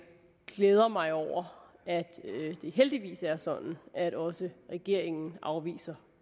glæder mig over at det heldigvis er sådan at også regeringen afviser